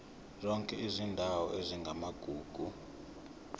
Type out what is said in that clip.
zonke izindawo ezingamagugu